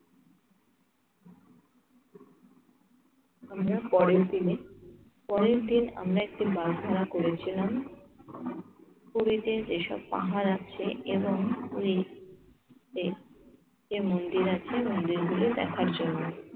আমরা পরের দিনে। পরের দিন আমরা একটি প্রার্থনা করেছিলাম পুরীতে যেসব পাহাড় আছে এবং পুরিতে যে যে মন্দির আছে মন্দিরগুলো দেখার জন্য।